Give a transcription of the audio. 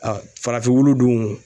farafin wulu dun